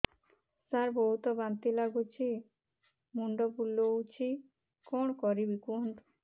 ସାର ବହୁତ ବାନ୍ତି ଲାଗୁଛି ମୁଣ୍ଡ ବୁଲୋଉଛି କଣ କରିବି କୁହନ୍ତୁ